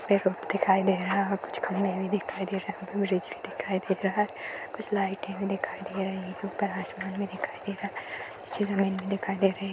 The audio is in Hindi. रोड दिखाई दे रहा है और कुछ खम्भे भी दिखाई दे रहे हैं दिखाई दे रहे हैं कुछ लाइटें भी दिखाई दे रही हैं। ऊपर आसमान भी दिखाई दे रहा है नीचे जमीन भी दिखाई दे रही --